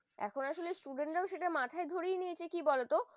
আর এখন আসলে student রা সেটা মাথায় ধরে নিয়েছে কি বলতো,